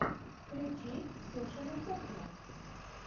включи ксюшина кухня